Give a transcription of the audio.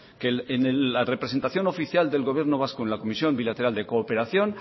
que en la representación oficial del gobierno vasco en la comisión bilateral de cooperación